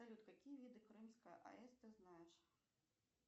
салют какие виды крымская аэс ты знаешь